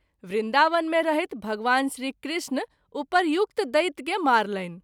वृन्दावन मे रहैत भगवान श्री कृष्ण उपर्युक्त दैत्य के मारलनि।